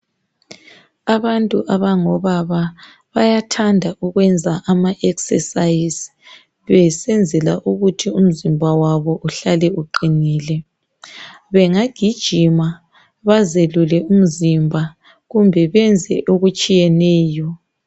Abantu abangobaba bayathanda ukwenza amaexercise besenzela ukuthi umzimba wabo uhlale uqinile, bengagijima bazelule umzimba kumbe benze okutshiyeneyo.